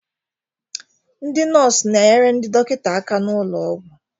ndị nọọsụ na-enyere ndị dọkịta aka n'ụlọ ọgwụ